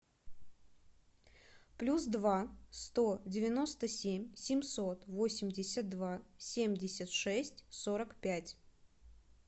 плюс два сто девяносто семь семьсот восемьдесят два семьдесят шесть сорок пять